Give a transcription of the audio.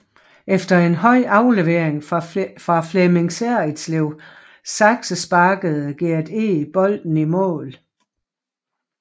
Efter en høj aflevering fra Flemming Serritslev saksesparkede Gert Eg bolden i mål